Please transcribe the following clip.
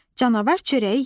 Canavar çörəyi yedi.